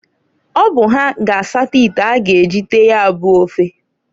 Ọ bụ ha ga asata ite a ga eji tee ya bu ofe.